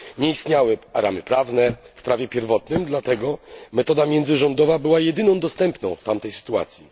Nie istniały ramy prawne w prawie pierwotnym, dlatego metoda międzyrządowa była jedyną dostępną w tamtej sytuacji.